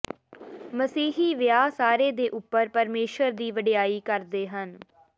ਮਸੀਹੀ ਵਿਆਹ ਸਾਰੇ ਦੇ ਉੱਪਰ ਪਰਮੇਸ਼ੁਰ ਦੀ ਵਡਿਆਈ ਕਰਦੇ ਹਨ